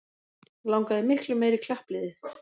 Langaði miklu meira í klappliðið